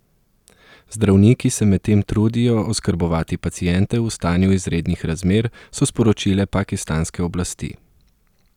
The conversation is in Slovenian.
Zdravniki se medtem trudijo oskrbovati paciente v stanju izrednih razmer, so sporočile pakistanske oblasti.